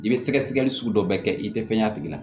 I bɛ sɛgɛsɛgɛli sugu dɔ bɛɛ kɛ i tɛ fɛn ye a tigi la